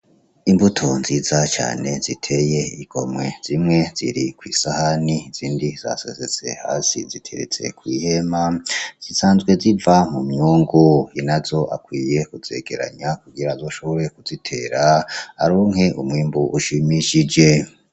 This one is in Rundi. Imbuto zinza cane zitey'igomwe zimwe ziri kwisahani izindi zasesetse hasi zirikwihema zisanzwe ziva mu myungu ,inazo akwiye kuzegeranya kugirango ashobore kuzitera aronke umwimbu ushimishije.